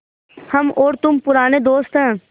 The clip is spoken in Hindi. हम और तुम पुराने दोस्त हैं